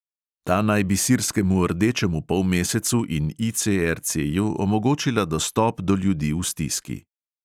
Ta naj bi sirskemu rdečemu polmesecu in ICRCju omogočila dostop do ljudi v stiski.